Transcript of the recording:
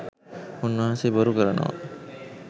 උන්වහන්සේ බොරු කරනවා